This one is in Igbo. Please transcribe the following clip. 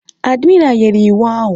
Admiré nyere iwu ahụ